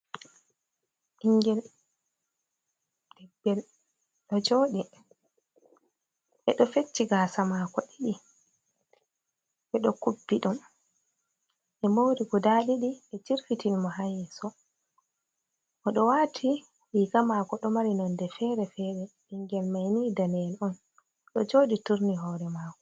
Ɓingel. Ɓingel ɗo jooɗi, ɓe ɗo fecci gaasa maako ɗiɗi, ɓe ɗo kubbi ɗum, ɓe moori guda ɗiɗi ɓe jirfitini mo haa yeeso. Oɗo waati riga maako ɗo mari nonde fere- fere, ɓingel maini daneyel on, ɗo jooɗi turni hoore maako.